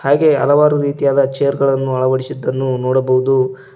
ಹಾಗೆ ಹಲವಾರು ರೀತಿಯಾದ ಚೇರ್ಗಳನ್ನು ಅಳವಡಿಸಿದ್ದನ್ನು ನೋಡಬಹುದು.